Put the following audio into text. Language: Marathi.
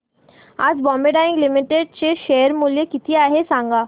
आज बॉम्बे डाईंग लिमिटेड चे शेअर मूल्य किती आहे सांगा